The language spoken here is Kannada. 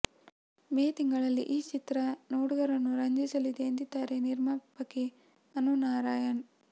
ಮೇ ತಿಂಗಳಲ್ಲಿ ಈ ಚಿತ್ರ ನೋಡುಗರನ್ನು ರಂಜಿಸಲಿದೆ ಎಂದಿದ್ದಾರೆ ನಿರ್ಮಾಪಕಿ ಅನು ನಾರಾಯಣ್